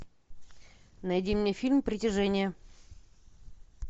найди мне фильм притяжение